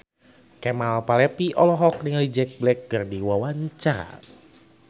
Kemal Palevi olohok ningali Jack Black keur diwawancara